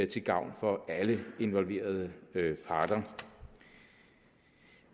til gavn for alle involverede parter